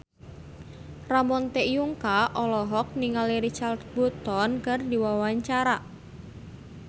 Ramon T. Yungka olohok ningali Richard Burton keur diwawancara